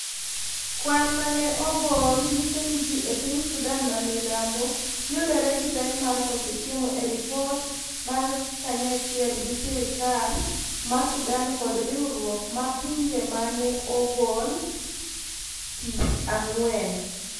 kwan ma ne ogol nyiso ni ji e piny Sudan mamilambo yudore gi pek mar. koso chiemo e ripot mar kanyachiel gi sirikal ma sudan kod riwruok mar pinje ma. ne ogol jich ang'wen